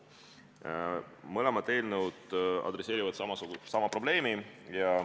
Mõlemad eelnõud adresseerivad sama probleemi.